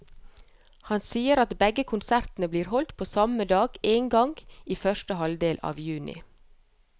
Han sier at begge konsertene blir holdt på samme dag, en gang i første halvdel av juni.